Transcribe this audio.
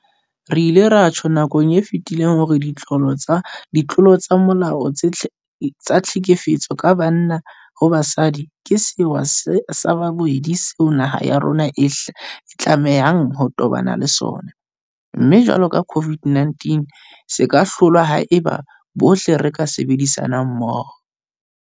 Re ile ra tjho nakong e fetileng hore ditlolo tsa molao tsa tlhekefetso ka banna ho basadi ke sewa sa bobedi seo naha ya rona e tlamehang ho tobana le sona, mme jwalo ka COVID-19 se ka hlolwa haeba bohle re ka sebedisana mmoho.